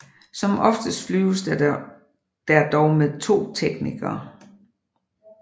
Som oftest flyves der dog med to teknikere